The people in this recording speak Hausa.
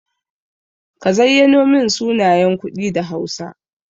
Ka zayyano min sunayen kuɗi da hausa.